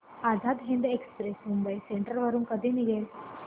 Azad Hind express Mumbai central वरून कधी निघेल